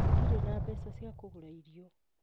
Ndirĩ na mbeca cia kũgũra irio